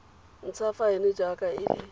ntsha faene jaaka e le